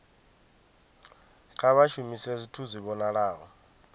kha vha shumise zwithu zwi vhonalaho